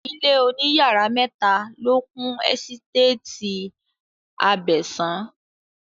Ilé òní yàrá mẹ́ta ló kún ẹ́sítétì Abẹ̀sán